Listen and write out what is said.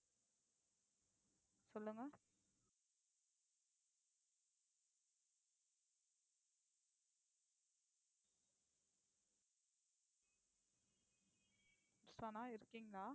சொல்லுங்க சனா இருக்கீங்களா